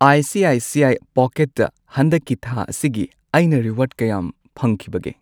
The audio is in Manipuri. I C I C I ꯄꯣꯀꯦꯠꯇ ꯍꯟꯗꯛꯀꯤ ꯊꯥ ꯑꯁꯤꯒꯤ ꯑꯩꯅ ꯔꯤꯋꯥꯔꯗ ꯀꯌꯥꯝ ꯐꯪꯈꯤꯕꯒꯦ?